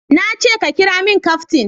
Na ce ka kiramin kaftin